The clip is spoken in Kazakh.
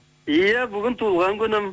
иә бүгін туған күнім